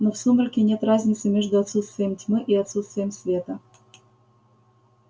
но в сумраке нет разницы между отсутствием тьмы и отсутствием света